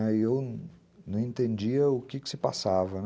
E eu não entendia o que se passava.